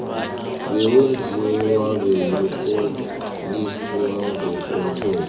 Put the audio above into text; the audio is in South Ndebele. bewenziwa bewatloliswa ngokomthetho